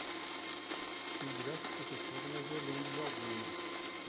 Tive diversas professoras, mas eu lembro de algumas.